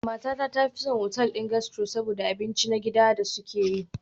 Matata ta fi son otal ɗin gastro saboda abinci na gida da suke yi.